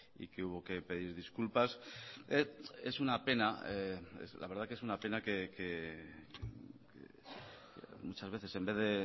y que hubo que pedir disculpas es una pena la verdad que es una pena que muchas veces en vez de